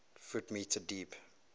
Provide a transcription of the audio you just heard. ft m deep